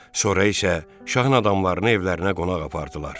Sonra isə şahın adamlarını evlərinə qonaq apardılar.